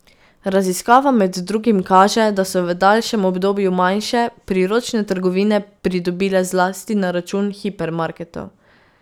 Raziskava med drugim kaže, da so v daljšem obdobju manjše, priročne trgovine pridobile zlasti na račun hipermarketov.